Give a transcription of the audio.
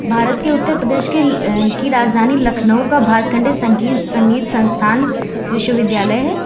भारत के उत्तर प्रदेश के अह की राजधानी लखनऊ का भारत खंड संगीत संगीत संस्थान विश्वविद्यालय है।